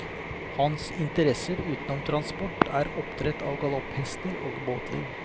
Hans interesser utenom transport er oppdrett av galopphester og båtliv.